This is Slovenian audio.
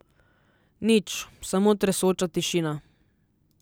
Nič, samo tresoča tišina.